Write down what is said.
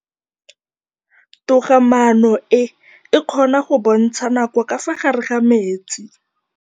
Toga-maanô e, e kgona go bontsha nakô ka fa gare ga metsi.